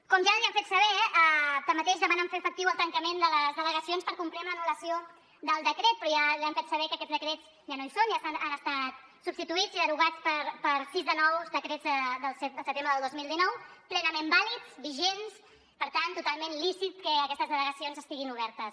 com ja li han fet saber tanmateix demanen fer efectiu el tancament de les delegacions per complir amb l’anul·lació del decret però ja li han fet saber que aquests decrets ja no hi són ja han estat substituïts i derogats per sis de nous decrets del set de setembre del dos mil dinou plenament vàlids vigents per tant totalment lícit que aquestes delegacions estiguin obertes